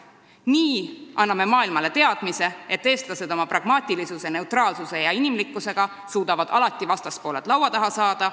Nii annaksime maailmale selle teadmise, et eestlased suudavad oma pragmaatilisuse, neutraalsuse ja inimlikkusega alati vastaspooled laua taha saada.